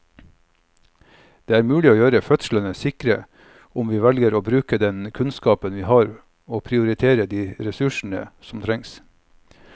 Det er mulig å gjøre fødslene sikre om vi velger å bruke den kunnskapen vi har og prioritere de ressursene som trengs.